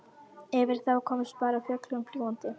Yfir þá komst bara fuglinn fljúgandi.